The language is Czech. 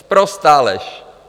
Sprostá lež!